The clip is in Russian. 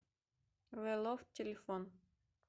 зэ лофт телефон